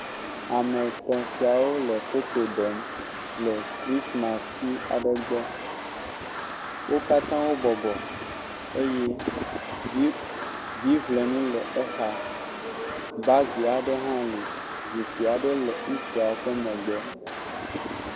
Ame etɔ̃ siawo le foto ɖem le krismasiti aɖe gbɔ. Wo katã wo bɔbɔ eye viblenu le exa. Baagi aɖe le. Zikpi aɖe le ŋutsua ƒe megbe.